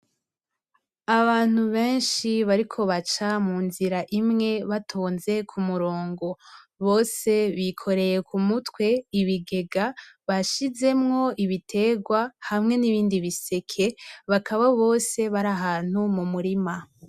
Abantu benshi bariko baca munzira imwe batonze k'umurongo. Bose bikoreye k'umutwe ibigega bashizemwo ibitegwa hamwe n'ibindi biseke, bakaba bose bari ahantu mu murima.